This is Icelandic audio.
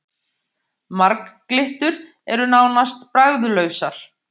Marglyttur eru nánast bragðlausar.